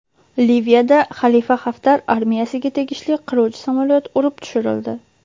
Liviyada Xalifa Xaftar armiyasiga tegishli qiruvchi samolyot urib tushirildi.